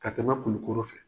Ka tɛmɛ kulukɔrɔ fɛ.